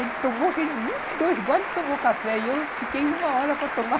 Ele tomou aquele... dois goles e tomou o café, e eu fiquei uma hora para tomar.